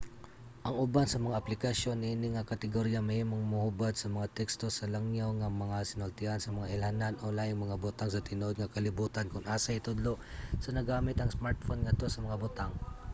ang uban sa mga aplikasyon niini nga kategorya mahimong mohubad sa mga teksto sa langyaw nga mga sinultian sa mga ilhanan o laing mga butang sa tinuod nga kalibutan kon asa itudlo sa naggamit ang smartphone ngadto sa mga butang